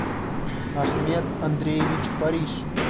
ахмет андреевич париж